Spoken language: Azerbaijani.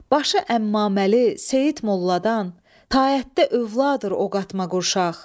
Başı əmmaməli Seyid Molladan, taətdə övladı o qatma qurşaq.